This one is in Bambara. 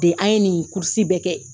Dede an ye nin kurusi bɛɛ kɛ.